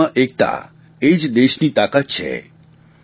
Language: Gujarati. વિવિધતામાં એકતા એ જ દેશની તાકાત છે